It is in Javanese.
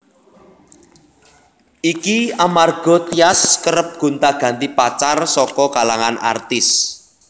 Iki amarga Tyas kerep gonta ganti pacar saka kalangan artis